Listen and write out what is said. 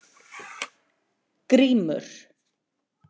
Grímur